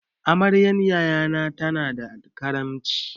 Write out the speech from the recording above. Amaryan yaya na tana da karamci.